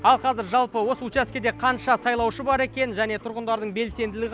ал қазір жалпы осы учаскеде қанша сайлаушы бар екен және тұрғындарлың белсенділігі